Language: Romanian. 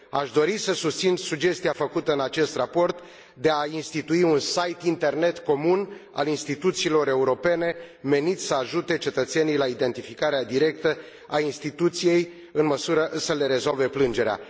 Aș dori să susțin sugestia făcută în acest raport de a institui un site internet comun al instituțiilor europene, menit să ajute cetățenii la identificarea directă a instituției în măsură să le rezolve plângerea.